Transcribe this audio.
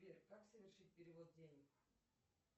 сбер как совершить перевод денег